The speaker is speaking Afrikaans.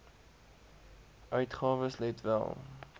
uitgawes let wel